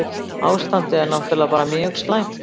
Ástandið er náttúrlega bara mjög slæmt